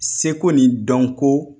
Seko ni dɔnko